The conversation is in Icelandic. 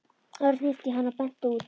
Örn hnippti í hann og benti út.